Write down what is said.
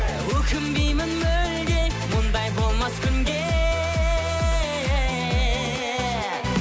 өкінбеймін мүлде мұндай болмас күнде